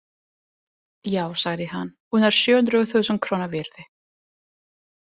Já, sagði hann, hún er sjö hundruð þúsund króna virði.